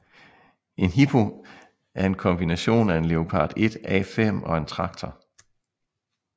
En Hippo er en kombination af en Leopard 1A5 og en traktor